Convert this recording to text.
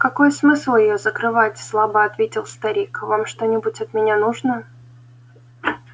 какой смысл её закрывать слабо ответил старик вам что-нибудь от меня нужно